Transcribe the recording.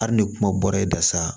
Hali ni kuma bɔra e da sa